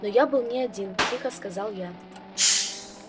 но я был не один тихо сказал я